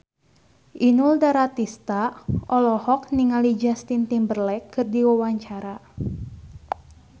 Inul Daratista olohok ningali Justin Timberlake keur diwawancara